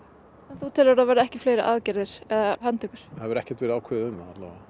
en þú telur að það verði ekki fleiri aðgerðir eða handtökur það hefur ekkert verið ákveðið um það allavega